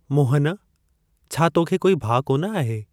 मोहनः छा, तोखे कोई भाउ कोन आहे ?